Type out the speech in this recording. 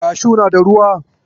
Kashu na da ruwa.